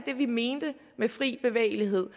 mentes med fri bevægelighed